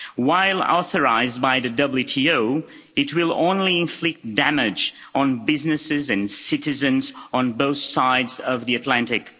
While authorised by the WTO, it will only inflict damage on businesses and citizens on both sides of the Atlantic.